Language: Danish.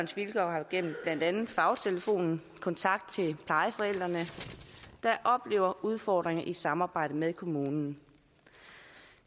vilkår har gennem blandt andet fagtelefonen kontakt til plejeforældrene der oplever udfordringer i samarbejdet med kommunen